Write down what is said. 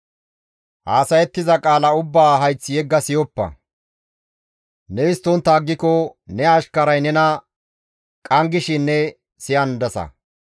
Haasayettiza qaala ubbaa hayth yegga siyoppa; ne histtontta aggiko ne ashkaray nena qanggishin ne siyandasa.